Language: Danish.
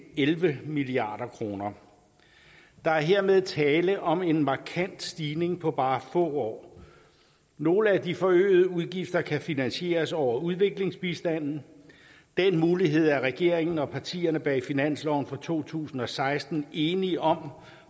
elleve milliard kroner der er hermed tale om en markant stigning på bare få år nogle af de forøgede udgifter kan finansieres over udviklingsbistanden den mulighed er regeringen og partierne bag finansloven for to tusind og seksten enige om